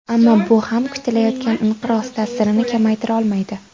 Ammo bu ham kutilayotgan inqiroz ta’sirini kamaytira olmaydi.